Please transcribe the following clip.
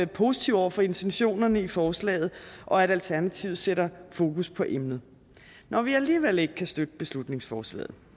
positive over for intentionerne i forslaget og at alternativet sætter fokus på emnet når vi alligevel ikke kan støtte beslutningsforslaget